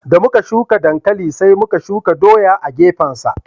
Da muka shuka dankali sai muka shuka doya a gefen sa